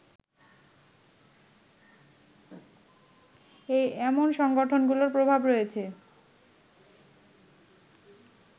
এমন সংগঠনগুলোর প্রভাব রয়েছে